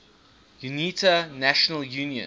unita national union